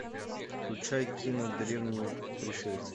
включай кино древние пришельцы